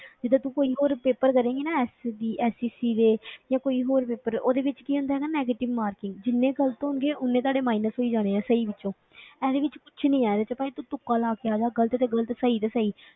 ਜਿੱਦਾਂ ਤੂੰ ਕੋਈ ਹੋਰ paper ਕਰੇਂਗੀ ਨਾ SDSSC ਦੇ ਜਾਂ ਕੋਈ ਹੋਰ paper ਉਹਦੇ ਵਿੱਚ ਕੀ ਹੁੰਦਾ ਹੈ ਨਾ negative marking ਜਿੰਨੇ ਗ਼ਲਤ ਹੋਣਗੇ, ਓਨੇ ਤੁਹਾਡੇ minus ਹੋਈ ਜਾਣੇ ਆਂ ਸਹੀ ਵਿੱਚੋਂ ਇਹਦੇ ਵਿੱਚ ਕੁਛ ਨੀ ਹੈ, ਇਹਦੇ ਵਿੱਚ ਭਾਵੇਂ ਤੂੰ ਤੁੱਕਾ ਲਾ ਕੇ ਆ ਜਾ ਗ਼ਲਤ ਤੇ ਗ਼ਲਤ ਸਹੀ ਤੇ ਸਹੀ।